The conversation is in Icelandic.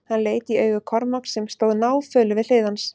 Hann leit í augu Kormáks sem stóð náfölur við hlið hans.